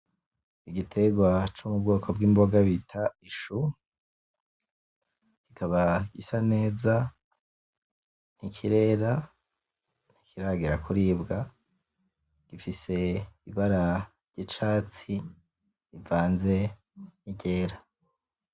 Igiterwa co m'Ubwoko bw'Imboga bita Ishu. Ikaba isa neza ntikirera, ntikiragera kuribwa ifise Ibara ry'Icatsi rivanze n'Iryera